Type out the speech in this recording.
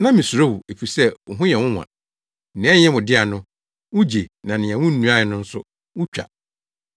Na misuro wo, efisɛ wo ho yɛ nwonwa. Nea ɛnyɛ wo dea no, wugye na nea wunnuae nso no, wutwa.’